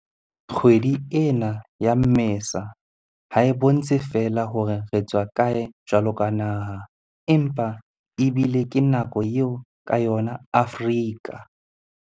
Kgwedi ena ya Mmesa ha e bontshe feela hore re tswa kae jwaloka naha, empa ebile ke nako eo ka yona Afrika.